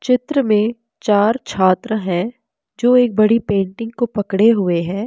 चित्र में चार छात्र हैं जो एक बड़ी पेंटिंग को पकड़े हुए हैं।